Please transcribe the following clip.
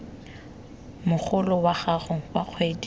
mogolo wa gago wa kgwedi